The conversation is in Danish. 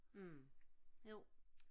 mh jo